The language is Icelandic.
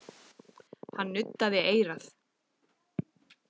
Hann nuddaði eyrað.